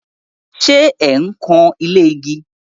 Ṣẹ ẹ̀ ń kan ilé igi?